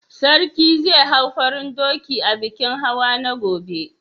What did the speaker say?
Sarki zai hau farin dokin a bikin hawa na gobe?